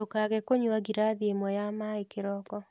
Ndũkage kũnywa ngirathi ĩmwe ya maĩĩ kĩroko